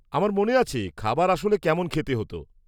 -আমার মনে আছে খাবার আসলে কেমন খেতে হতো।